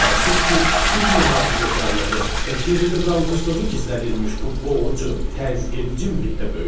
Təəssüf ki, biz mühafizəkarlığı və geridə qalmışlığı gizlədilmiş bu boğucu, təzyiqedici mühitdə böyüdük.